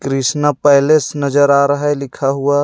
Krishna Palace नजर आ रहा हे लिखा हुआ.